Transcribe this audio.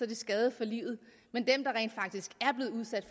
de skadet for livet men